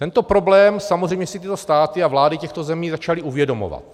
Tento problém samozřejmě si tyto státy a vlády těchto zemí začaly uvědomovat.